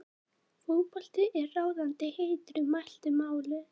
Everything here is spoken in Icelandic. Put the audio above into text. fótbolti er ráðandi heiti í mæltu máli